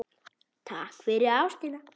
Takk fyrir ástina.